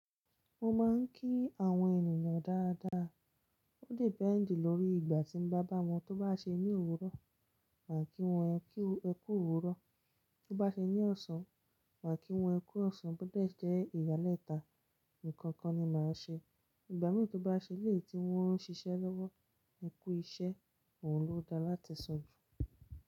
Mo máa ń kí àwọn ènìyàn dáadáa. Ó depend lórí ìgbà tí mo bá bá wọn. Tó bá ṣe ní òwúrọ̀, màá kí wọn ẹ kú òwúrọ̀. Tó bá ṣe ní ọ̀sán, màá kí wọn ẹ kú ọ̀sán. Bó dé jẹ́ ìgbàlẹ́ta, ǹkan kan ni màá ṣe. Ìgbà mìíràn tó bá ṣe léè tí wọ́n ń ṣiṣẹ́ lọ́wọ́, ẹ kú iṣẹ́. Ohun ló da láti sọ jù.